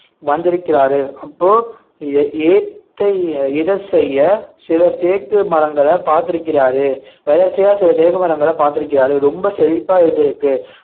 வந்திருக்கிறாரு அப்போ ஏ~ ஏத்த இட செய்ய சில தேக்கு மரங்களை பார்த்திருக்கிறாரு எதற்ச்சையா சில தேக்கு மரங்களை பார்த்திருக்கிறாரு ரொம்ப செழிப்பா இருந்திருக்கு